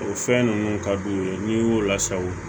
O fɛn ninnu ka d'u ye n'i y'o lasago